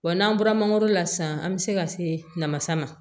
Wa n'an bɔra mangoro la sisan an bɛ se ka se namasa ma